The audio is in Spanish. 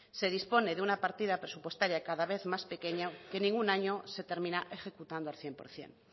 se dispone de una partida presupuestaria cada vez más pequeño que ningún año se termina ejecutando al cien por ciento